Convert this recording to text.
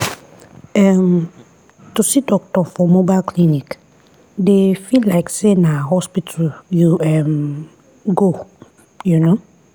ehh to see doctor for mobile clinic dey feel like say na hospital you um go. um